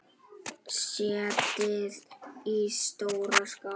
Setjið í stóra skál.